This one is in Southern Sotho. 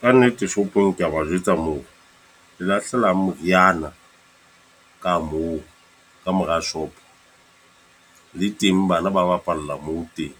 Ka nnete shopong ke a ba jwetsa moo, le lahlela meriana ka moo ka mora shop. Le teng bana ba bapala la moo teng.